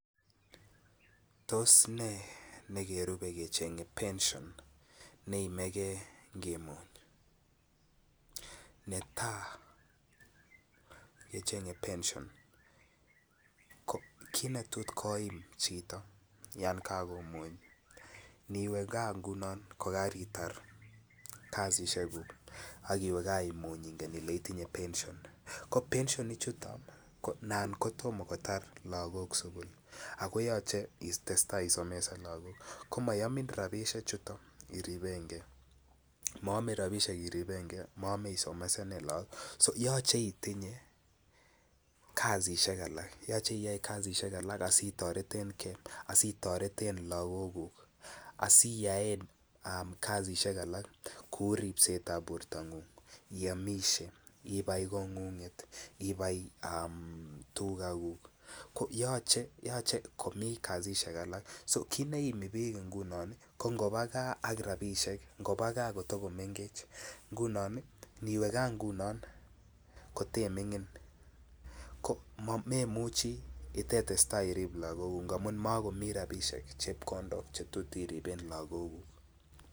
Tos nee nekerupe kechenge pension neimeke ngimuny, netaa kechenge pension ko kit negotiable koim chito yon kogomuch, niwee gaa ngunon yan karitar kazishekuk akiwe gaa imuch ingen ile itinye pension ko pension ichuton ko ana kotom kotar lagok sukul ako yoche itestai isomesan lagok ko moyomin rabishek chuton iripengee, moyome rabishek irepengee moyome isomesanen logok so yoche itinye kazishek alak yoche iyoe kazishek alak asi toretengee asi toreten logokuk aside yaen um kazishek alak kouu ribsetab bortongung iyomishe ibai kongunget ibai um tugakuk ko yoche komii kazishek alak ko kit neimi biik ngunon ko ngobaa gaa ak rabishek ngobaa gaa kotogo mengech ngunon ii iniwe gaa ngunon kote mingin ko memuchi itetestai irib logokuk ngamun mokomii rabishek chepkondok che tot iriben logokuk